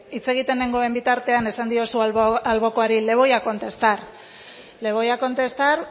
hitz egiten nengoen bitartean esan diozu albokoari le voy a contestar le voy a contestar